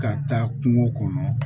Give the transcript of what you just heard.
Ka taa kungo kɔnɔ